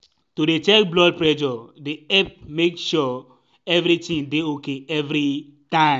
to dey check blood presure dey epp make sure evritin dey ok everi time.